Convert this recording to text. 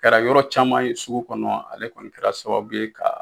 Kɛra yɔrɔ caman ye sugu kɔnɔ ale kɔni kɛra sababu ye ka